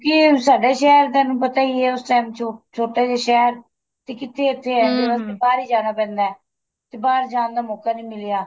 ਕਿਉਂਕਿ ਸਾਡੇ ਸ਼ਹਿਰ ਤੁਹਾਨੂੰ ਪਤਾ ਈ ਏ ਉਸ time ਚੋ ਛੋਟਾ ਜਾ ਸ਼ਹਿਰ ਤੇ ਕਿੱਥੇ ਇੱਥੇ ਬਾਹਰ ਈ ਜਾਣਾ ਪੈਂਦਾ ਤੇ ਬਾਹਰ ਜਾਣ ਦਾ ਮੋਕਾ ਨੀਂ ਮਿਲਿਆ